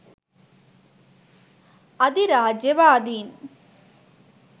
අධිරාජ්‍යවාදීන්